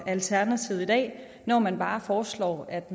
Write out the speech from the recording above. alternativet i dag når man bare foreslår at